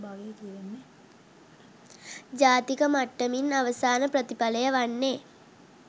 ජාතික මට්ටමින් අවසාන ප්‍රතිඵලය වන්නේ